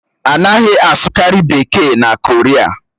A naghị asụkarị Bekee na Koria